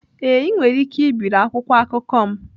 Ee, ị nwere ike ibiri akwụkwọ akụkọ m.